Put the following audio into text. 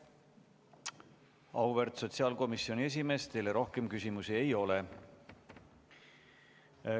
Auväärt sotsiaalkomisjoni esimees, teile rohkem küsimusi ei ole.